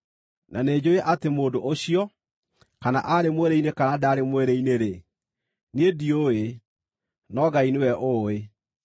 Na nĩnjũũĩ atĩ mũndũ ũcio, kana aarĩ mwĩrĩ-inĩ kana ndaarĩ mwĩrĩ-inĩ-rĩ, niĩ ndiũĩ, no Ngai nĩwe ũũĩ,